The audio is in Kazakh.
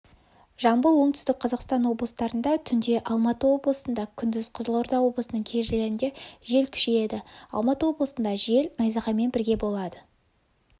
жамбыл оңтүстік қазақстан облыстарында түнде алматы облысында күндіз қызылорда облысының кей жерлерінде жел күшейеді алматы облысында жел найзағаймен бірге болады